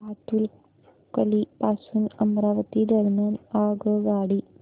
भातुकली पासून अमरावती दरम्यान आगगाडी